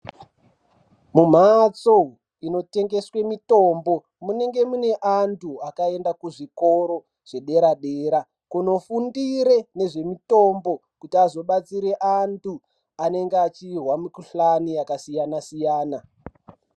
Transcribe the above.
Mumhatso inotengeswe mitombo munonga muine vantu vakaenda kuzvikora zvepadera dera kunofundira ngezvemitombo kuti vazobatsira vantu vanenga vachinzwa mikuhlani yakasiyana siyana.